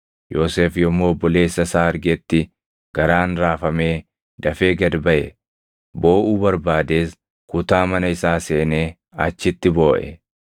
Yoosef yommuu obboleessa isaa argetti garaan raafamee dafee gad baʼe; booʼuu barbaadees kutaa mana isaa seenee achitti booʼe.